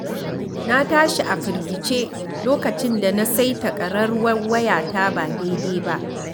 Na tashi a firgice lokacin da na saita ƙararrwar wayata ba daidai ba.